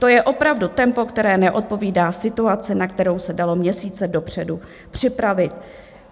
To je opravdu tempo, které neodpovídá situaci, na kterou se dalo měsíce dopředu připravit.